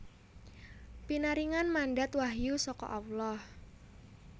Pinaringan mandat wahyu saka Allah